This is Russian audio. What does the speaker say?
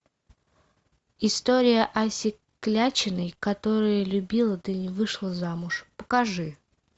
история аси клячиной которая любила да не вышла замуж покажи